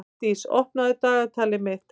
Hlédís, opnaðu dagatalið mitt.